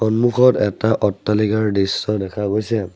সন্মুখত এটা অট্টালিকাৰ দৃশ্য দেখা গৈছে।